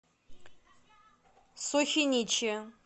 сухиничи